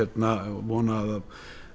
vona að